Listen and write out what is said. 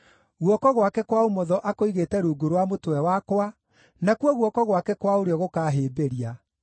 Guoko gwake kwa ũmotho akũigĩte rungu rwa mũtwe wakwa, nakuo guoko gwake kwa ũrĩo gũkaahĩmbĩria.